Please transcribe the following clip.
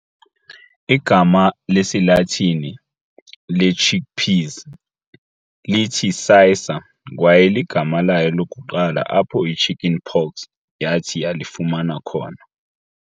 igama lesiLatini lechick peas lithi"cicer", kwaye ligama layo lokuqala apho ichicken pox yathi yalifumana khona.